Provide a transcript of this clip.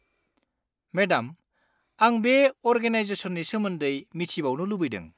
Madam, आं बे अरगानाइजेसननि सोमोन्दै मिथिबावनो लुबैदों।